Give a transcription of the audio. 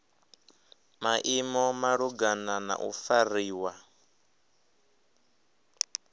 maimo malugana na u fariwa